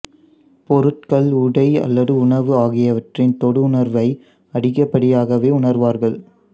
பொருட்கள் உடை அல்லது உணவு ஆகியவற்றின் தொடு உணர்வை அதிகப்படியாகவே உணர்வார்கள்